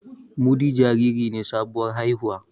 Mudi jariri ne sabuwar haihuwa